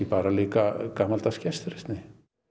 líka gamaldags gestrisni